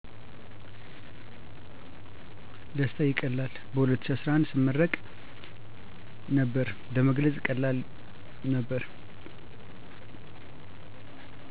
ደስታ ይቀላል በ2011ሰመርቅ ነበር ለመግለጽ ቀላል ነበር